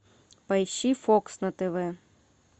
поищи фокс на тв